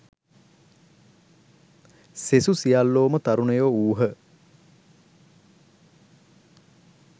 සෙසු සියල්ලෝම තරුණයෝ වූහ.